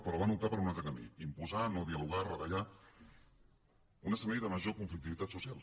però van optar per un altre camí imposar no dialogar retallar un escenari de major conflictivitat social